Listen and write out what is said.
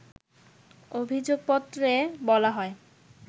অভিযোগপত্রে বলা হয়